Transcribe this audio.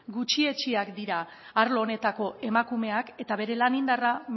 gutxietsiak dira arlo honetako emakumeak eta bere lan indarra